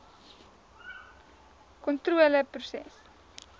gvkontroleproses